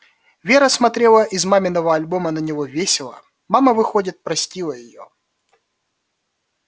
вера смотрела из маминого альбома на него весело мама выходит простила её